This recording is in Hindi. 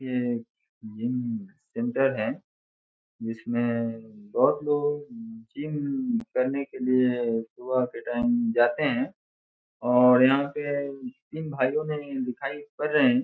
ये जिम सेंटर है। जिसमे बोहोत लोग की जिम करने के लिए सुबह के टाइम जाता है और यहाँ पे तीन भाई दिखाई पड़ रहे है।